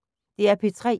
DR P3